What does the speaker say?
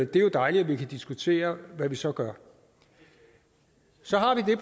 det er jo dejligt at vi kan diskutere hvad vi så gør så har vi